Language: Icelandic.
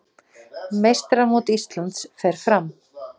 Meistaramót Íslands fer fram